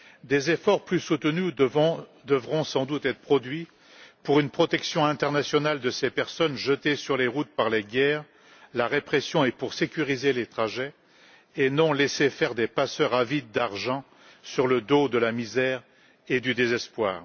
Des efforts plus soutenus devront sans doute être produits pour une protection internationale de ces personnes jetées sur les routes par les guerres, la répression et pour sécuriser les trajets et ne pas laisser faire des passeurs avides d'argent qui s'enrichissent sur le dos de la misère et du désespoir.